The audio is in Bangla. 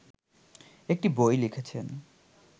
একটি বই লিখেছেন